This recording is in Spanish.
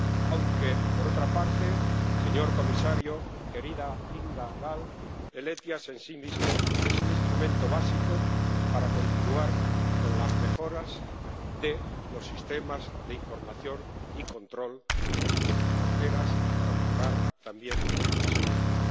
Aunque, por otra parte, señor comisario, señora ponente Kinga Gál, el SEIAV en sí mismo es un instrumento básico para continuar con las mejoras de los sistemas de información y control de las fronteras, y para mejorar también su seguridad.